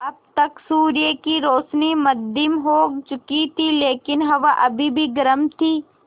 अब तक सूर्य की रोशनी मद्धिम हो चुकी थी लेकिन हवा अभी भी गर्म थी